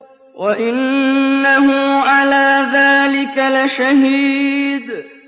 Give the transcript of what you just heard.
وَإِنَّهُ عَلَىٰ ذَٰلِكَ لَشَهِيدٌ